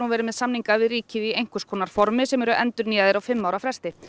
verið með samninga við ríkið í einhvers konar formi sem eru endurnýjaðir á fimm ára fresti